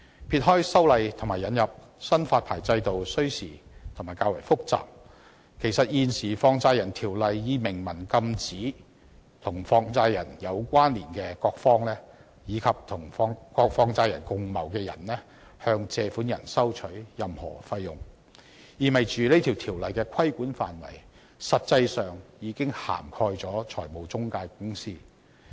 撇開修例和引入新發牌制度需時而且較為複雜，其實現時《放債人條例》已明文禁制與放債人有關連的各方，以及與放債人共謀的人士向借款人收取任何費用，意味條例的規管範圍實際上已經涵蓋了中介公司。